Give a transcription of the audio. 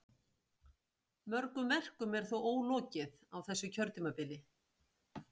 Mörgum verkum er þó ólokið á þessu kjörtímabili.